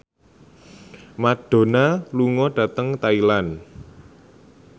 Madonna lunga dhateng Thailand